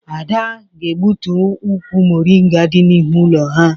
Ada ga-egbutu ukwu moringa dị n'ihu ụlọ ha.